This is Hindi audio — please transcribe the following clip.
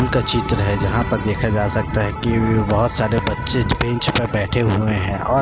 स्कूल का चित्र है जहाँ पर देखा जा सकता है की वे बहोत सारे बच्चे बेंच पर बैठे हुए हैं और --